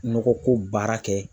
Nɔgɔ ko baara kɛ